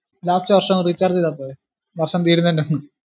last വർഷം recharge ചെയ്‌താപോരെ വർഷം തീരുന്നതിന് ഹും